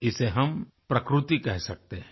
इसे हम प्रकृति कह सकते हैं